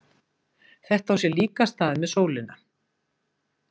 Þetta á sér líka stað með sólina.